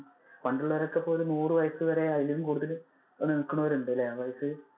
പണ്ടുള്ളവർ ഒക്കെ നൂറു വയസ്സു വരെ അതിലും കൂടുതൽ നില്കുന്നവരുണ്ടല്ലേ.